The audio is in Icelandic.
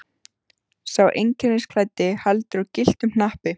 Sá einkennisklæddi heldur á gylltum hnappi.